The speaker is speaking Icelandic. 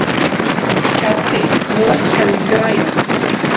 Gaddi, lækkaðu í græjunum.